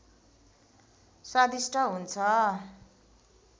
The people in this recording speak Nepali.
स्वादिष्ट हुन्छ